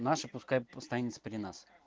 наши пускай останется при нас